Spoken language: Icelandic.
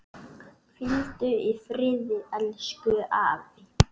Hvíldu í friði elsku afi.